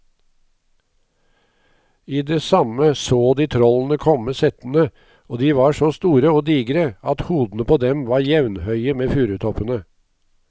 I det samme så de trollene komme settende, og de var så store og digre at hodene på dem var jevnhøye med furutoppene.